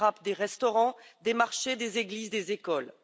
elle frappe des restaurants, des marchés, des églises, des écoles.